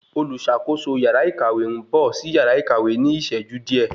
Oluṣakoso yàrá ìkàwé n bọ sí yàrá ìkàwé ní iṣẹju diẹ